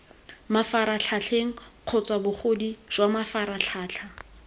mafaratlhatlheng kgotsa bogodu jwa mafaratlhatlha